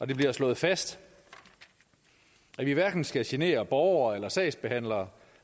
det bliver slået fast at vi hverken skal genere borgere eller sagsbehandlere